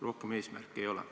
Rohkem eesmärke ei ole.